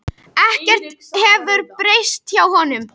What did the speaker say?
Ekkert hefur breyst hjá honum.